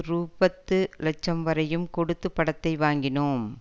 ரூ பத்து லட்சம் வரையும் கொடுத்து படத்தை வாங்கினோம்